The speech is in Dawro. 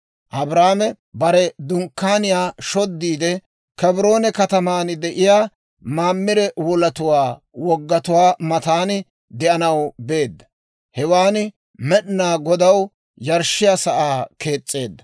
Abraame bare dunkkaaniyaa shoddiide, Kebroone katamaan de'iyaa Mamire wolatuwaa woggatuwaa matan de'anaw beedda. Hewaan Med'inaa Godaw yarshshiyaa sa'aa kees's'eedda.